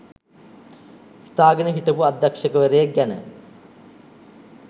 හිතාගෙන හිටපු අධ්‍යක්ෂවරයෙක් ගැන